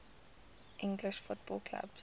english football clubs